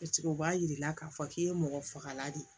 o b'a yira k'a fɔ k'i ye mɔgɔ fagala de ye